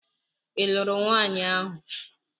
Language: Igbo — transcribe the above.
Ị lụrụ nwanyi ahu?